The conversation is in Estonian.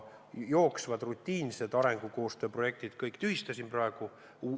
Jooksvad, rutiinsed arengukoostööprojektid ma kõik tühistasin praegu.